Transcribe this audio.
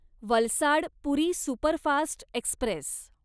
Valsad Puri superfast Express